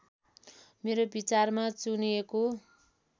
मेरो विचारमा चुनिएको